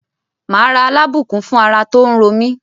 Màá ra Alábùkún fún ara tó ń ro mí.